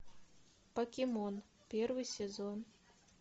покемон первый сезон